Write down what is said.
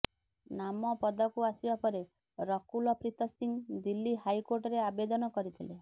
ନାମ ପଦାକୁ ଆସିବା ପରେ ରକୁଲ ପ୍ରୀତ ସିଂ ଦିଲ୍ଲୀ ହାଇକୋର୍ଟରେ ଆବେଦନ କରିଥିଲେ